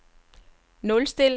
nulstil